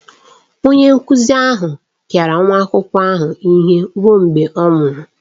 Onye nkụzi ahụ pịara nwa akwụkwọ ahụ ihe ruo mgbe ọ nwụrụ.